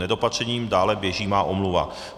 Nedopatřením dále běží má omluva.